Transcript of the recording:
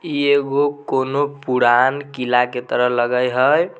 ई एगो कुनो पुरान किला के तरह लगे हई।